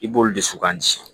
I b'olu de suku an ci